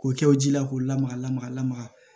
K'o kɛ o ji la k'o lamaga lamaga lamaga